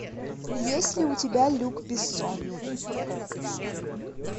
есть ли у тебя люк бессон